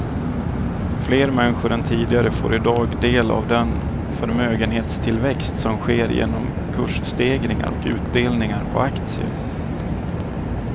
Fler människor än tidigare får i dag del av den förmögenhetstillväxt som sker genom kursstegringar och utdelningar på aktier.